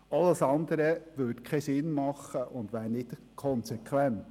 alles andere würde keinen Sinn ergeben und wäre nicht konsequent.